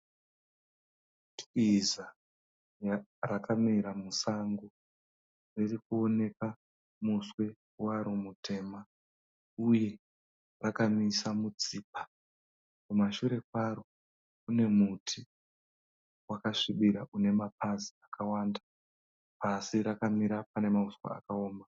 Twiza rakamira musango riri kuoneka muswe waro mutema uye rakamisa mutsipa. Kumashure kwaro kune muti wakasvibira une mapazi akawanda asi rakamira pane mauswa akaoma.